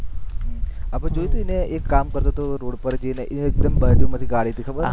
આપણે જોયો હતો એક કામ કરતો હતો રોડ પર એ એક્દમ બાજુ માથી ગાડી કાઢી હતી ખબર